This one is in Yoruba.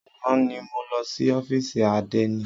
Àná ni mo lọ sí ófìsì àdénì.